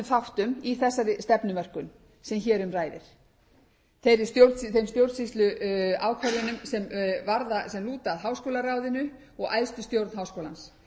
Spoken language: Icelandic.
þáttum í þessari stefnumörkun sem hér um ræðir þeim stjórnsýsluákvörðunum sem lúta að háskólaráðinu og æðstu stjórn háskólans